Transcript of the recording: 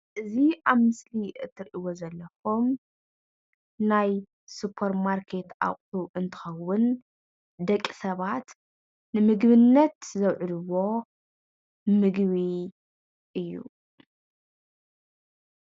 ኣብ መሸጣ ድንዃን ዝረከብ ንምግብነት ዝውዕል እዩ።